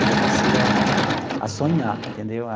Aí eu passei a a a sonhar, entendeu?